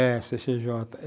O famoso cê cê jota .